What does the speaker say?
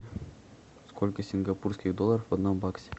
сколько сингапурских долларов в одном баксе